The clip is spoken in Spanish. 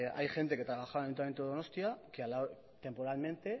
hay gente que trabajaba en el ayuntamiento de donostia temporalmente